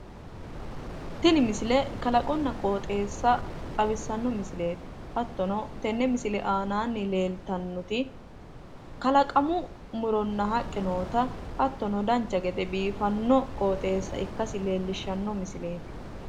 Tini misile kalaqonna qooxeessa xawissanno misileeti. Hattono tenne misile aananni leeltannoti kalaqamu muronna haqqe noota hattono dancha gede biifanno qooxeessa ikkasi leellishshanno misileeti.